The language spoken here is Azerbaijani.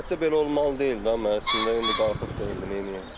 əlbəttə belə olmalı deyil də, mən əslində indi qalxıb neyləyəm.